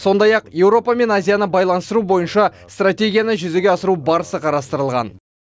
сондай ақ еуропа мен азияны байланыстыру бойынша стратегияны жүзеге асыру барысы қарастырылған